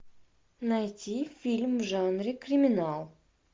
найти фильм в жанре криминал